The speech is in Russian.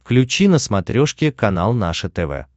включи на смотрешке канал наше тв